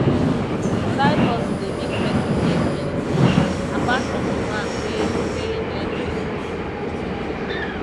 side hustle de make persin get many skills apart from di one wey wey im learn for school